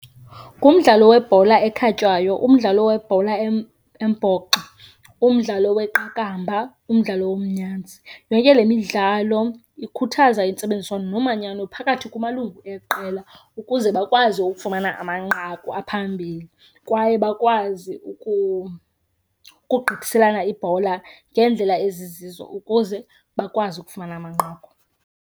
Ngumdlalo webhola ekhatywayo, umdlalo webhola embhoxo, umdlalo weqakamba, umdlalo womnyanzi. Yonke le midlalo ikhuthaza intsebenziswano nomanyano phakathi kumalungu eli qela ukuze bakwazi ukufumana amanqaku aphambili, kwaye bakwazi ukugqithiselana ibhola ngeendlela ezizizo ukuze bakwazi ukufumana amanqaku.